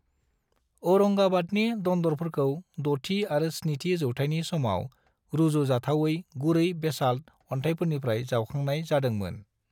औरंगाबादनि दन्दरफोरखौ 6थि आरो 7थि जौथायनि समाव रुजुजाथावयै गुरै बेसाल्ट अन्थायनिफ्राय जावखांनाय जादों मोन।